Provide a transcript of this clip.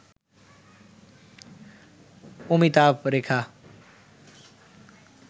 Amitabh Rekha